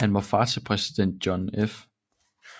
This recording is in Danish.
Han var far til præsident John F